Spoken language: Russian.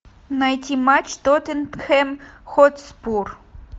найти матч тоттенхэм хотспур